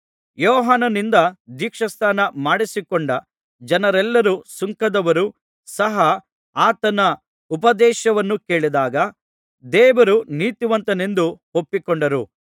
ಯೋಹಾನನಿಂದ ದೀಕ್ಷಾಸ್ನಾನ ಮಾಡಿಸಿಕೊಂಡ ಜನರೆಲ್ಲರೂ ಸುಂಕದವರೂ ಸಹ ಆತನ ಉಪದೇಶವನ್ನು ಕೇಳಿದಾಗ ದೇವರು ನೀತಿವಂತನೆಂದು ಒಪ್ಪಿಕೊಂಡರು